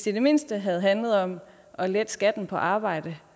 i det mindste havde handlet om at lette skatten på arbejde